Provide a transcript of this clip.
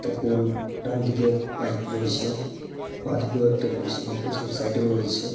তখন ডানদিকে এক পাইপ রয়েছে। বাদিকেও একটা রয়েছে এবং পেছনের সাইড -এও রয়েছে।